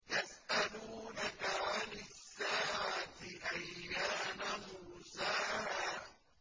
يَسْأَلُونَكَ عَنِ السَّاعَةِ أَيَّانَ مُرْسَاهَا